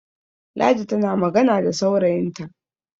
ladi tana magana da saurayinta